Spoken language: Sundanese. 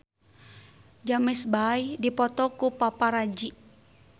James Bay dipoto ku paparazi